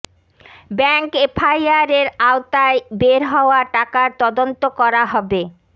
bank এফআইআরের আওতায় বের হওয়া টাকার তদন্ত করা হবে